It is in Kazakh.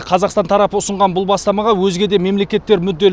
қазақстан тарапы ұсынған бұл бастамаға өзге де мемлекеттер мүдделі